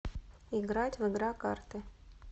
играть в игра карты